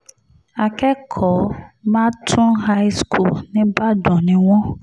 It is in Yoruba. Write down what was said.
akẹ́kọ̀ọ́ màtún high school nígbàdàn ni wọ́n